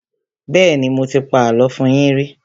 Bẹ́ẹ́nì, mo ti pa àlọ́ fún yín rí.